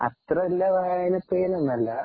അത്ര നല്ല വായനപ്രിയനൊന്നുമല്ല.